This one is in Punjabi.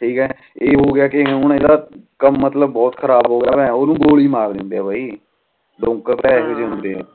ਠੀਕ ਆ ਏ ਹੋ ਗਿਆ ਕ ਹੁਣ ਏਦਾਂ ਕਮ ਮਤਲਬ ਬਹੁਤ ਖਰਾਬ ਹੋ ਗਿਆ ਆ ਓਹਨੂੰ ਗੋਲੀ ਮਾਰ ਦੇਂਦੇ ਆ ਬਾਈ ਲੋਕ ਪਤਾ ਆ ਇਹੋ ਜੇ ਹੁੰਦੇ ਆ